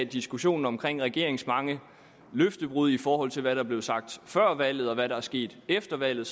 diskussionen om regeringens mange løftebrud i forhold til hvad der blev sagt før valget og hvad der er sket efter valget